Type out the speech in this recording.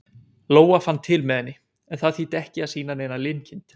Lóa fann til með henni, en það þýddi ekki að sýna neina linkind.